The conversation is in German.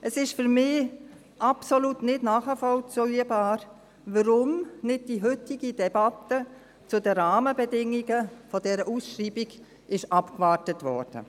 Es ist für mich absolut nicht nachvollziehbar, warum nicht die heutige Debatte zu den Rahmenbedingungen dieser Ausschreibung abgewartet wurde.